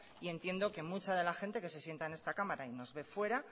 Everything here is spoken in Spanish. y entiendo que mucha de la gente que se sienta en esta cámara y nos ve fuera